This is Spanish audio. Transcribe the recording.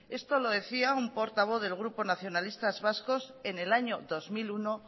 esto lo decía un portavoz del grupo nacionalistas vascos en el año dos mil uno